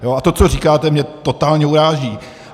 A to, co říkáte, mě totálně uráží.